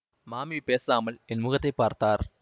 மாமி பேசாமல் என் முகத்தை பார்த்தார்